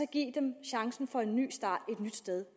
give dem chancen for en ny start et nyt sted